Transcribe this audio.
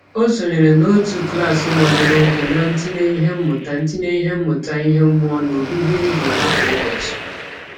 O sonyere n'otu klaasị gbadoroụkwụ na ntinye ihe mmụta ntinye ihe mmụta ihe mmụọ n'obibi ndụ ha kwa ụbọchị.